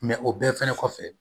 o bɛɛ fɛnɛ kɔfɛ